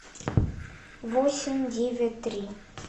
восемь девять три